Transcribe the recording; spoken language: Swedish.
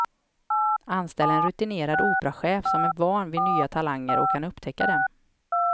Anställ en rutinerad operachef som är van vid nya talanger och kan upptäcka dem.